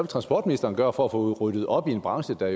transportministeren gøre for at få ryddet op i en branche der